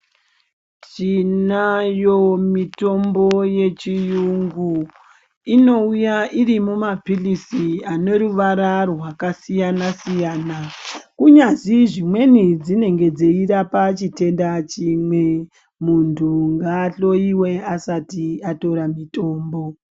Tinayo mitombo yechirungu inouya iri mumapirizi ane ruvara rwakasiyana-siyana unyazi dzimweni dzinenge dzeirapa chitenda chimwe muntu ngahloiwe asati atora mitombo.